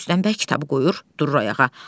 Rüstəm bəy kitabı qoyur, durur ayağa.